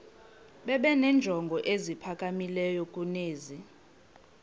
benenjongo eziphakamileyo kunezi